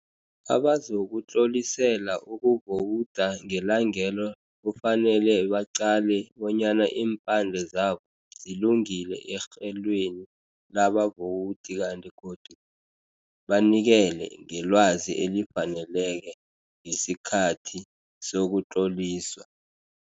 Abazokutlolisela ukuvowuda ngelangelo kufanele baqale bonyana iimphande zabo zilungile erhelweni labavowudi kanti godu banikele ngelwazi elifaneleke ngesikhathi sokutloliswa.